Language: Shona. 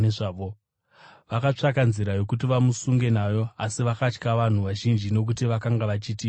Vakatsvaka nzira yokuti vamusunge nayo, asi vakatya vanhu vazhinji nokuti vakanga vachiti muprofita.